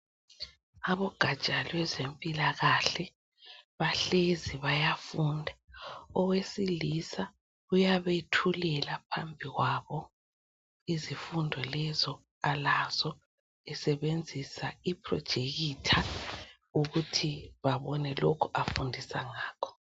Abogatsha lwezempilakahle bahlezi bayafunda. Owesilisa uyabethulela phambi kwabo izifundo lezo alazo esebenzisa iprojekitha ukuthi babone lokho afundisa ngakho.